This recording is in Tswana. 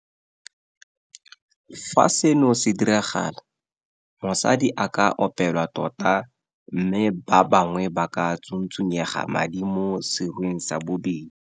Fa seno se diragala, mosadi a ka opelwa tota mme ba bangwe ba ka tsuntsunyega madi mo serweng sa bosadi.